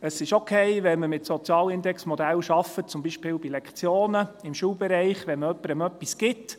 Es ist okay, wenn man mit Sozialindexmodellen arbeitet, beispielsweise bei Lektionen, im Schulbereich, wenn man jemandem etwas gibt.